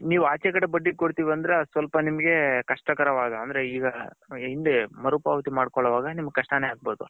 ನೀವ್ ಅಚ್ಚೆ ಕಡೆಗ್ ಬಡ್ಡಿಗ್ ಕೊಡ್ತಿವ್ ಅಂದ್ರೆ ಅದು ಸ್ವಲ್ಪ ನಿಮ್ಮಗೆ ಕಷ್ಟಕರವಾದ ಈಗ್ಗ ಇಂದೇ ಮರು ಪಾವತಿ ಮಡ್ಕೊಲ್ವಾಗ ನಿಮ್ಮಗ್ ಕಷ್ಟನೆ ಅಗ್ಬೌದು .